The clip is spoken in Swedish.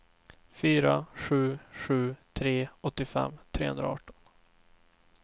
fyra sju sju tre åttiofem trehundraarton